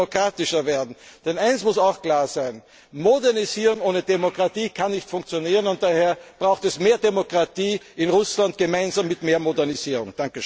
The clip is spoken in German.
Russland muss demokratischer werden. Denn eines muss auch klar sein, Modernisierung ohne Demokratie kann nicht funktionieren und daher braucht es mehr Demokratie in Russland gemeinsam mit mehr Modernisierung.